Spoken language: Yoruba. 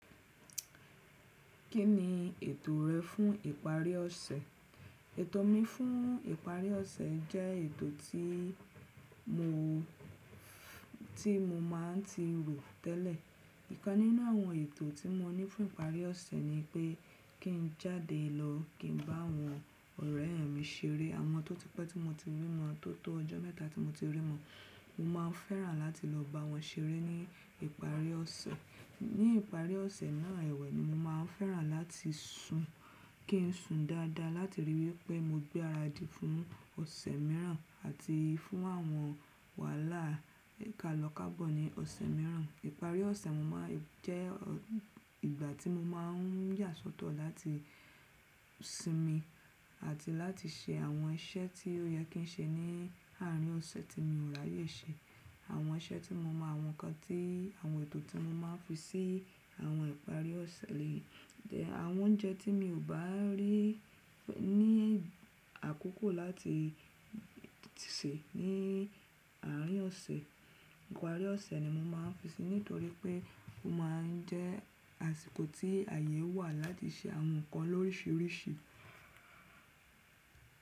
Kí ni ètò rẹ fún ìparí ọ̀sẹ̀? Ètò mi fún ìparí ọ̀sẹ̀ jẹ́ ètò tí mo, tí mo máa ń ti rò tẹ́lẹ̀. Ìkan nínú àwọn ètò tí mo ní fún ìparí ọ̀sẹ̀ ni pé kí n jáde lọ kí n bá àwọn ọ̀rẹ́ mi ṣeré, àwọn tó ti pẹ́ tí mo ti rí wọn, tó tó ọjọ́ mẹ́ta tí mo ti rí wọn. Mo má n fẹ́ràn láti lọ bá wọn ṣeré ní ìparí ọ̀sẹ̀. Ní ìparí ọ̀sẹ̀ náà ẹ̀wẹ̀ ni mo máa fẹ́ràn láti sun, kí n sùn dáadáa láti ríi wí pé mo gbé ara di fún ọ̀sẹ̀ mìíràn àti fún àwọn wàhálà ìkàlọ̀kàbọ̀ ní ọ̀sẹ̀ mìíràn. Ìparí ọ̀sẹ̀ máa jẹ́ ìgbà tí mo máa n yà sọ́tọ̀ láti sinmi àti láti ṣe àwọn iṣẹ́ tí ó yẹ kí n ṣe ní àárín ọ̀sẹ̀ tí mi ò ráyè ṣe. Àwọn iṣẹ́ tí mo mọ àwọn kan tí, àwọn ètò tí mo máa ń fi sí àwọn ìparí ọ̀sẹ̀ le yé. Àwọn oúnjẹ tí mi ò bá rí ní àkókò láti sè ní àárín ọ̀sẹ̀, ìparí ọ̀sẹ̀ ni mo máa ń fi sè nítorí pé ó máa ń jẹ́ àsìkò tí àyè wà láti ṣe àwọn nǹkan lórísìírísìí.